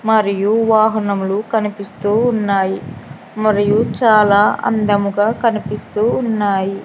మరియు వాహనములు కనిపిస్తూ ఉన్నాయి మరియు చాలా అందముగా కనిపిస్తూ ఉన్నాయి.